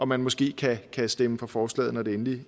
man måske kan stemme for forslaget når det endelig